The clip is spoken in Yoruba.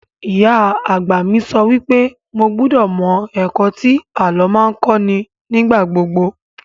Ìyá àgbà mi sọ wípé mo gbúdọ̀ mọ ẹ̀kọ́ tí àlọ́ máa ń kọ́ ní ìgbàgbogbo